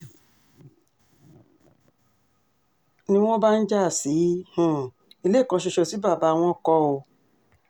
ni wọ́n bá ń já sí um ilé kan ṣoṣo tí bàbá wọn kọ́ um